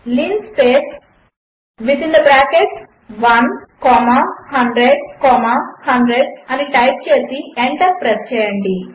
linspace1100100 అనిటైప్చేసిఎంటర్ప్రెస్స్చేయండి